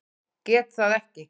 Geta það ekki.